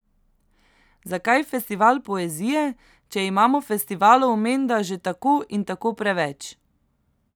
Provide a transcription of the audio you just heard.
Zakaj festival poezije, če imamo festivalov menda že tako in tako preveč?